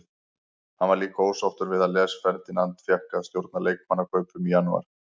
Hann var líka ósáttur við að Les Ferdinand fékk að stjórna leikmannakaupum í janúar.